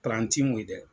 ti mun ye dɛ